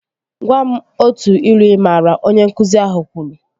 Gwam otu ilu ị maara! Onye nkụzi ahụ kwuru